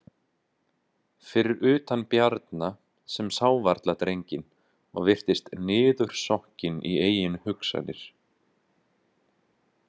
Fyrir utan Bjarna sem sá varla drenginn og virtist niðursokkinn í eigin hugsanir.